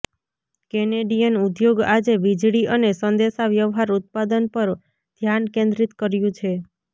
Canadian ઉદ્યોગ આજે વીજળી અને સંદેશાવ્યવહાર ઉત્પાદન પર ધ્યાન કેન્દ્રિત કર્યું છે